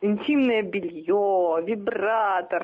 интимное белье вибратор